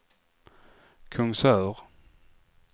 Kungsör